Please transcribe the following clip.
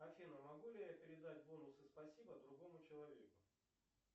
афина могу ли я передать бонусы спасибо другому человеку